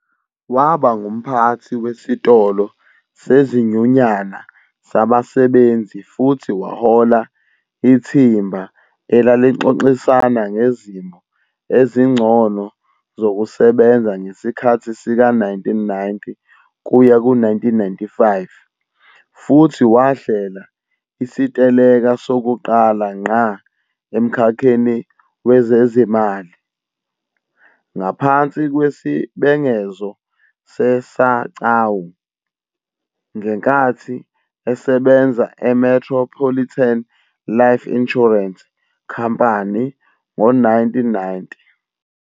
Waba ngumphathi wesitolo sezinyunyana zabasebenzi futhi wahola ithimba elalixoxisana ngezimo ezingcono zokusebenza ngesikhathi sika-1990 kuya ku-1995 futhi wahlela isiteleka sokuqala ngqa emkhakheni wezezimali, ngaphansi kwesibhengezo se-SACAWU, ngenkathi esebenza eMetropolitan Life Insurance Company ngo-1990.